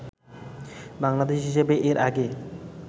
বাংলাদেশি হিসেবে এর আগে